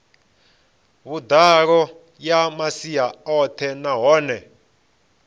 vhuḓalo ya masia oṱhe nahone